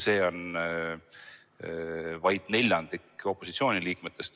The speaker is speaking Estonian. See on vaid neljandik opositsiooni liikmetest.